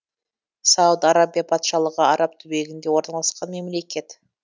сауд арабия патшалығы араб түбегінде орналасқан мемлекет